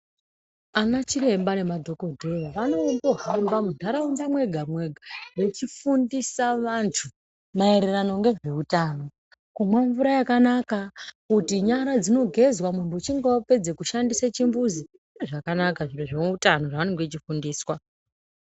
Ana chiremba nemadhokodheya vanohamba mundaraunda mwega mwega vechifundisa vantu mayererano ngezveutano kumwa mvura yakanaka, kuti nyara dzinogezwa muntu uchinge vapedza kushandisa chimbuzi, zviro zvakanaka zviro zvineutano zvavanenge vechifundiswa.